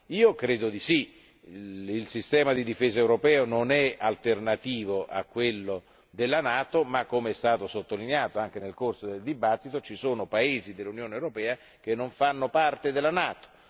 Io credo di sì. Il sistema di difesa europeo non è alternativo a quello della NATO ma, com'è stato sottolineato anche nel corso della discussione, ci sono paesi dell'Unione europea che non fanno parte della NATO.